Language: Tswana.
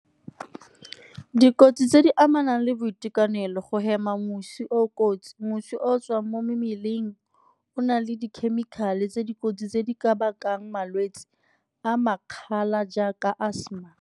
Dikotsi tse di amanang le boitekanelo, go hema mosi o o kotsi, mosi o o tswang mo mmeleng o o nang le dikhemikhale tse dikotsi tse di ka bakang malwetse a jaaka asthma.